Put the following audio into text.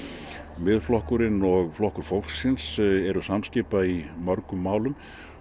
Miðflokkurinn og Flokkur fólksins eru samskipa í mörgum málum